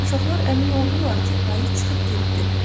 Uşaqlar əmin oldular ki, ayı çıxıb getdi.